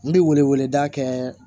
N bɛ wele wele da kɛ